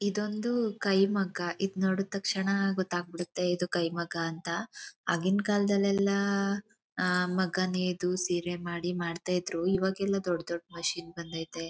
ಇದೊಂದು ಕೈಮಗ್ಗ ಇದು ನೋಡಿ ತಕ್ಷಣ ಗೊತ್ತಾಗ್ಬಿಡುತ್ತೆ ಇದು ಕೈಮಗ್ಗ ಅಂತ ಆಗಿನ ಕಾಲದಲ್ಲೆಲ್ಲ ಮಗ್ಗದು ಸೀರೆ ಮಾಡ್ತಾ ಇದ್ರು ಇವಾಗ್ ಎಲ್ಲಾ ದೊಡ್ಡ ದೊಡ್ಡ ಮಿಷಿನ್ ಬಂದೈತೆ.